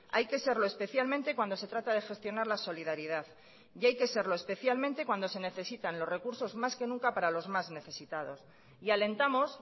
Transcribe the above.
hay que serlo especialmente cuando se trata de gestionar la solidaridad y hay que serlo especialmente cuando se necesitan los recursos más que nunca para los más necesitados y alentamos